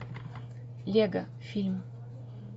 лего фильм